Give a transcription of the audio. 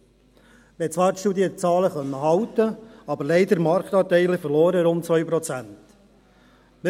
Man konnte die Studienzahlen zwar halten, hat aber leider Marktanteile von rund 2 Prozent verloren.